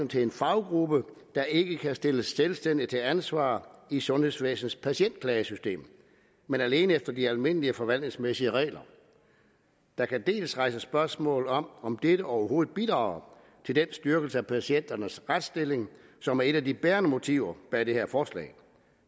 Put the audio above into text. til en faggruppe der ikke kan stilles selvstændigt til ansvar i sundhedsvæsenets patientklagesystem men alene efter de almindelige forvaltningsmæssige regler der kan rejses spørgsmål om om dette overhovedet bidrager til den styrkelse af patienternes retsstilling som er et af de bærende motiver bag det her forslag